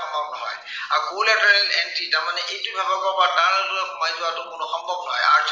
আৰু cold entry তাৰমানে এইটো ভাগৰ পৰা তাৰ আগলৈ সোমাই যোৱাটো কোনো অসম্ভৱ নহয়